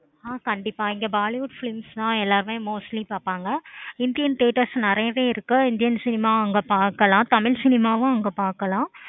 ஆஹ் கண்டிப்பா இங்க bollywood films தான் எல்லாமே mostly எல்லாருமே பார்ப்பாங்க. indian teatres நெறையாவே இருக்கு. indian cinemas அங்க பார்க்கலாம். தமிழ் cinema வும் அங்க பார்க்கலாம்.